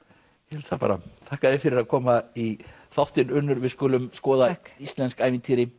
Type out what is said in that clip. held það bara þakka þér fyrir að koma í þáttinn Unnur takk við skulum skoða íslensk ævintýri